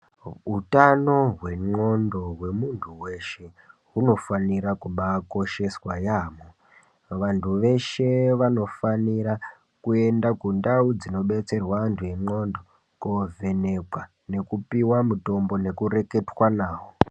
Hutano hwendxondo hwemuntu veshe hunofanira kubakosheswa yaamho. Vantu veshe vanofanira kuenda kundau dzinobetserwa antu engqondo kovhenekwa nekupiva mutombo nekureketa navo.